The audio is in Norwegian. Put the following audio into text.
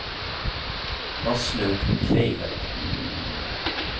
Aslaug Kleiven